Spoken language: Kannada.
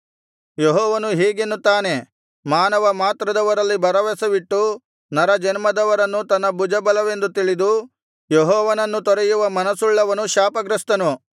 ಯೆಹೋವನು ಹೀಗೆನ್ನುತ್ತಾನೆ ಮಾನವ ಮಾತ್ರದವರಲ್ಲಿ ಭರವಸವಿಟ್ಟು ನರಜನ್ಮದವರನ್ನು ತನ್ನ ಭುಜಬಲವೆಂದು ತಿಳಿದು ಯೆಹೋವನನ್ನು ತೊರೆಯುವ ಮನಸ್ಸುಳ್ಳವನು ಶಾಪಗ್ರಸ್ಥನು